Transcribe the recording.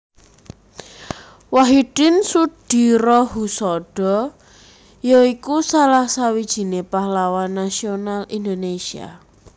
Wahidin Soedirohoesodo ya iku salah sawijiné pahlawan nasional Indonesia